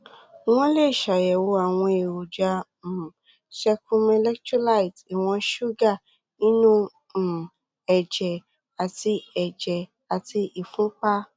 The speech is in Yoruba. wọn lè ṣàyẹwò àwọn èròjà um secrum electrolytes ìwọn ṣúgà inú um ẹjẹ àti ẹjẹ àti ìfúnpá